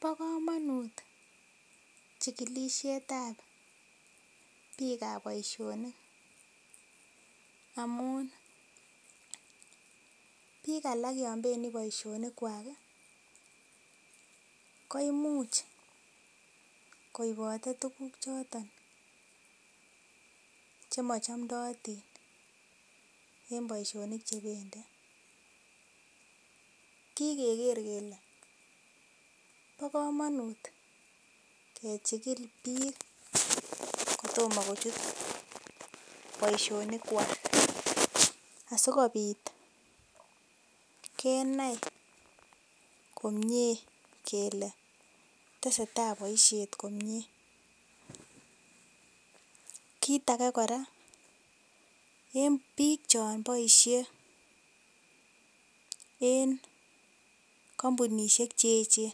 Bo komonut chikilisiet ab biikab boisionik amun biik alak yon bendii boisionik kwak ih koimuch koibote tuguk choton chemochomdotin en boisionik chebendii kikeker kele ko komonut kechigil biik kotomo kochut boisionik kwak asikobit kenai komie kele tesetai boisiet komie kit age kora en biik chon boisie en kampunisiek cheechen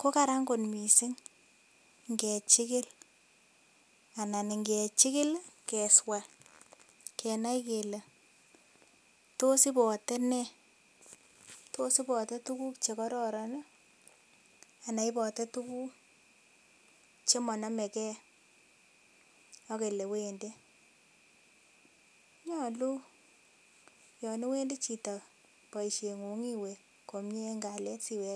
ko karan kot missing ngechigil anan ngechigil keswaa kenai kele tos ibore nee tos ibote tuguk chekororon ih anan ibote tuguk chemonomegee ak elewendii nyolu yon iwendii chito boisiet ng'ung iwe komie en kalyet siwek